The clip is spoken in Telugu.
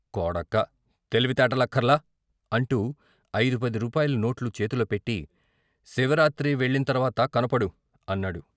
కొడకా తెలివి తేటలక్కర్లా " అంటూ ఐదు పది రూపాయల నోట్లు చేతిలో పెట్టి "శివరాత్రి వెళ్ళిం తర్వాత కనపడు " అన్నాడు.